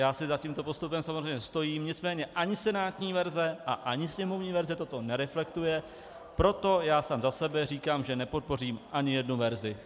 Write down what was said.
Já si za tímto postupem samozřejmě stojím, nicméně ani senátní verze a ani sněmovní verze toto nereflektuje, proto já sám za sebe říkám, že nepodpořím ani jednu verzi.